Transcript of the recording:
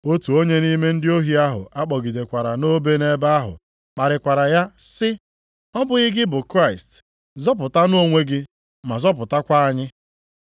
Otu onye nʼime ndị ohi ahụ a kpọgidekwara nʼobe nʼebe ahụ kparịkwara ya sị, “Ọ bụghị gị bụ Kraịst? Zọpụtanụ onwe gị ma zọpụtakwa anyị.”